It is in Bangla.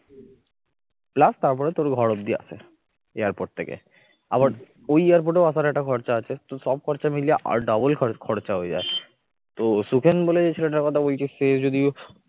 plus তারপরে তোর ঘর অবধি আশা airport থেকে আবার ওই air port এও আসার একটা খরচা আছে তো সব খরচা মিলিয়ে double খরচা হয়ে যায় তো সুখেন বলে যে ছেলেটার কথা বলছিস সে যদি